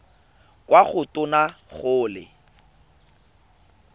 kwa go tona go le